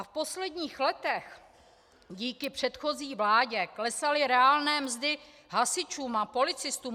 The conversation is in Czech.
A v posledních letech díky předchozí vládě klesaly reálné mzdy hasičům a policistům.